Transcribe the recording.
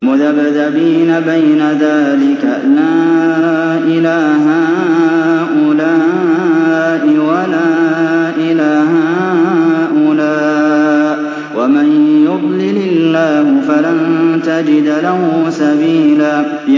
مُّذَبْذَبِينَ بَيْنَ ذَٰلِكَ لَا إِلَىٰ هَٰؤُلَاءِ وَلَا إِلَىٰ هَٰؤُلَاءِ ۚ وَمَن يُضْلِلِ اللَّهُ فَلَن تَجِدَ لَهُ سَبِيلًا